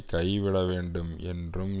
கைவிட வேண்டும் என்றும்